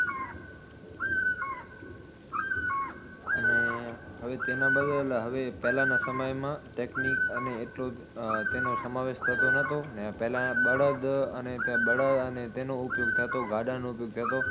અને હવે તેના બદલ હવે પહેલાના સમયમાં technique અને એટલો તેનો સમાવેશ થતો નતો ને પહેલા બળદ અને ત્યાં બળદ અને તેનો ઉપયોગ થતો, ગાડા નો ઉપયોગ થતો.